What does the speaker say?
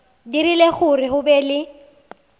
dirile gore go be le